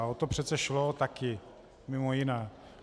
A o to přece šlo taky mimo jiné.